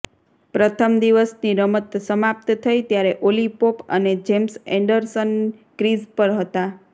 પ્રથમ દિવસની રમત સમાપ્ત થઈ ત્યારે ઓલી પોપ અને જેમ્સ એન્ડરસન ક્રીઝ પર હતા